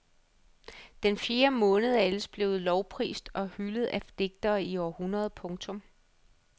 Den fjerde måned er ellers blevet lovprist og hyldet af digtere i århundreder. punktum